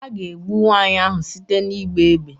A ga-egbu nwaanyị ahụ site n'ịgba égbè